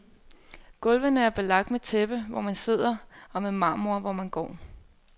Gulvene er belagt med tæppe, hvor man sidder, og med marmor hvor man går.